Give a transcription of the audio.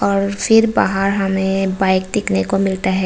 और फिर बाहर हमें बाइक देखने को मिलता है।